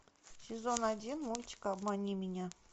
сезон один мультик обмани меня